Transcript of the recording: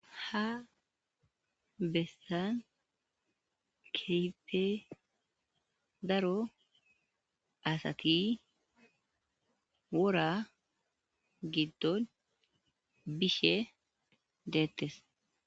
Ha bessan keype daro asati wora giddon bishe deettes.